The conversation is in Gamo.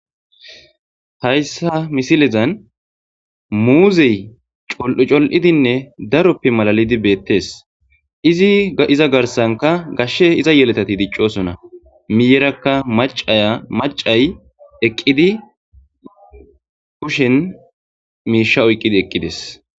Haysa misilezan muuzey col'u col'idinne daroppe malatidi beetes. Iza garsanka gashe iza yelagati dicosona miyeraka macay kushen miisha oykidi eqides